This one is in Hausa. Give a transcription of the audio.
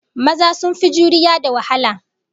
Maza sun fi juriya da wahala